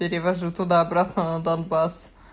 перевожу туда-обратно на донбасс